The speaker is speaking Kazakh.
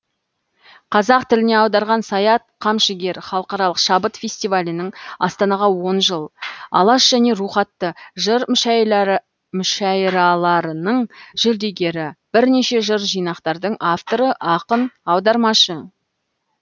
қазақ тіліне аударған саят қамшыгер халықаралық шабыт фестивалінің астанаға он жыл алаш және рух атты жыр мүшәйраларының жүлдегері бірнеше жыр жинақтардың авторы ақын аудармашы